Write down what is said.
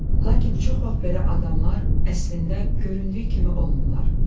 Lakin çox vaxt belə adamlar əslində göründüyü kimi olmurlar.